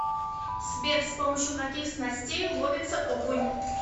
сбер с помощью каких снастей ловится окунь